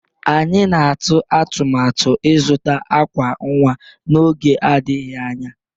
Anyị na-atụ atụmatụ ịzụta àkwà nwa n'oge adịghị anya.